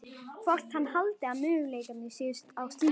Hvort hann haldi að möguleikar séu á slíku.